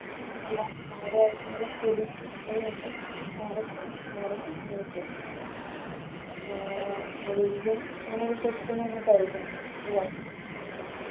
എല്ലാം മാറുവാരിക്കുന്നുള്ള പ്രദീക്ഷിച്ചുകൊണ്ട് മാറട്ടെ മാറും എന്ന് വിശ്വസിക്കുന്നു ആഹ് നീയും അങ്ങനെ വിശ്വസിക്കുന്ന് കരുതുന്നു അല്ലെ